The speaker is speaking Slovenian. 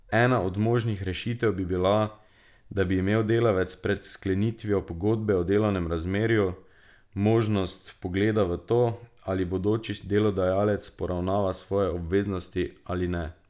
Ena od možnih rešitev bi bila, da bi imel delavec pred sklenitvijo pogodbe o delovnem razmerju možnost vpogleda v to, ali bodoči delodajalec poravnava svoje obveznosti ali ne.